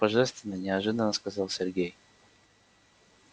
божественно неожиданно сказал сергей